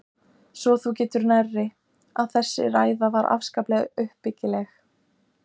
Svo þú getur nærri, að þessi ræða var afskaplega uppbyggileg!!